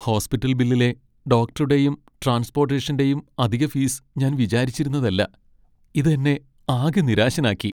Hospital ബില്ലിലെ ഡോക്ടറുടെയും ട്രാൻസ്പോട്ടേഷന്റെയും അധിക ഫീസ് ഞാൻ വിചാരിച്ചിരുന്നതല്ല, ഇത് എന്നെ ആകെ നിരാശനാക്കി.